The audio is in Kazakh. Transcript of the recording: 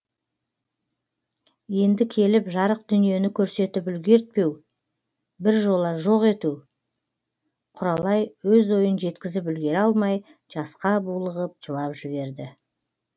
енді келіп жарық дүниені көрсетіп үлгертпеу бір жола жоқ ету құралай өз ойын жеткізіп үлгіре алмай жасқа булығып жылап жіберді